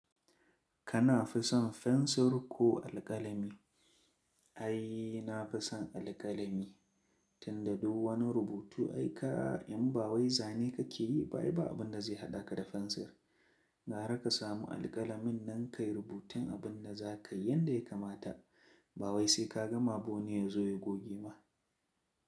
Ka fi son fensir ko alƙalami? Ai na fi son alƙalami, tun da duk wani rubutu aika, in ba wai zane kake yi ba, bai ba abin da zai haɗa ka da fensir. Gara ka samu alƙalamin nan kai rubutun abin da za ka yi yadda ya kamata. Ba wai sai ka gama ba wani ya zo ya goge ma.